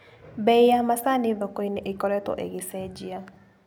Bei ya macani thokoinĩ ĩkoretwo ĩgĩcenjia.